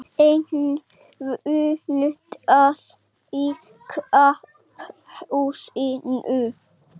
Enn fundað í Karphúsinu